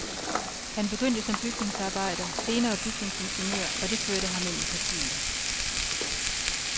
Han begyndte som bygningsarbejder, senere bygningsingeniør, og det førte ham ind i partiet.